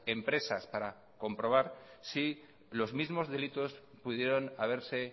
empresas para comprobar si los mismos delitos pudieron haberse